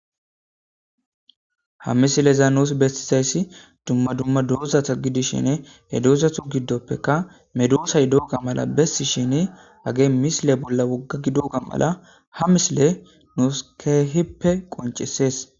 ha misileza nuus bestizayssi dumma dumma dozatha gidishine he doozathu giddoppeka medoosay dooga mala bessi shini age misile bolla wogga gi doga mala ha misile nuus keehippe qoncesees